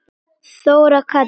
Þóra Katrín.